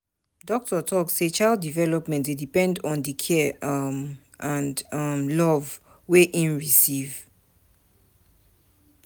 Doctor tok sey child development dey depend on di care um and um love wey im receive.